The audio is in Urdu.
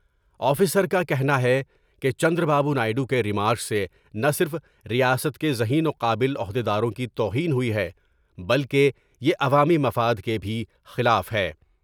آفیسر کا کہنا ہے کہ چندرابابو نائیڈو کے ریمارکس سے نہ صرف ریاست کے ذہین وقابل عہد یداروں کی توہین ہوئی ہے بلکہ یے عوامی مفاد کے بھی خلاف ہے۔